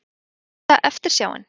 Mesta eftirsjáin?